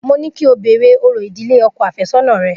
Mo ní kí o béèrè orò ìdílé ọkọ̀ àfẹ́sọ́nà rẹ.